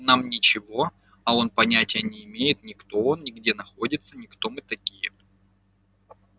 нам ничего а он понятия не имеет ни кто он ни где находится ни кто мы такие